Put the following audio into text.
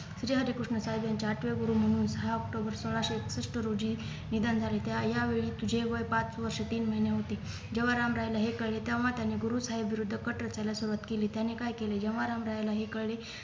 जय हरी कृष्ण साहेब यांचे आठवे गुरू म्हणून दहा October सोळाशे एकसष्ट रोजी निधन झालेत्या या वेळी तिचे वय पाच वर्ष तीन महिने होते जेव्हा राम रायला हे कळले तेव्हा त्यांनी गुरु साहेब विरुद्ध कट रचायला सुरुवात केली त्याने काय केले जेव्हा रामरायाला हे कळले